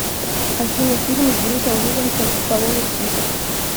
афина фильмы с брюсом вильямсом и столоне список